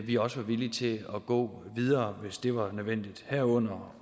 vi også var villige til at gå videre hvis det var nødvendigt herunder